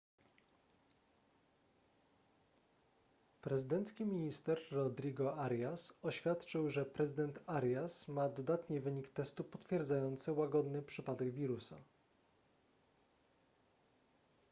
prezydencki minister rodrigo arias oświadczył że prezydent arias ma dodatni wynik testu potwierdzający łagodny przypadek wirusa